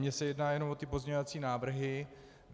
Mně se jedná jen o ty pozměňovací návrhy.